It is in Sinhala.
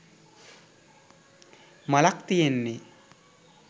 මලක් තියෙන්නේ.